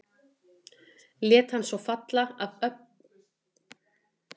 Lét hann svo falla AF ÖLLU AFLI í hausinn á fórnarlambinu.